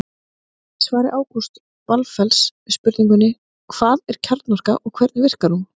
Í svari Ágústs Valfells við spurningunni Hvað er kjarnorka og hvernig verkar hún?